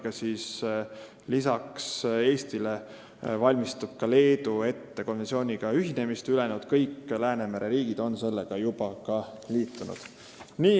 Vastati, et peale Eesti valmistub ühinema Leedu, kõik ülejäänud Läänemere riigid on juba liitunud.